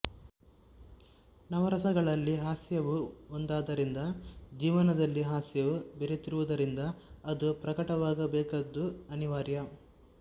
ನವರಸಗಳಲ್ಲಿ ಹಾಸ್ಯವೂ ಒಂದಾದ್ದರಿಂದ ಜೀವನದಲ್ಲಿ ಹಾಸ್ಯವೂ ಬೆರೆತಿರುವುದರಿಂದ ಅದೂ ಪ್ರಕಟವಾಗಬೇಕಾದ್ದು ಅನಿವಾರ್ಯ